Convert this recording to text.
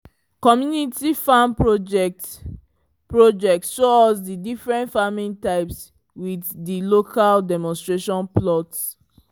community farm project project show us di different farming types with di local demonstration plots